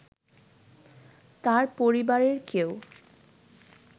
তার পরিবারের কেউ